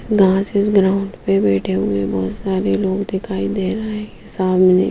घासेस ground पे बैठे हुए बहुत सारे लोग दिखाई दे रहे हैं सामने--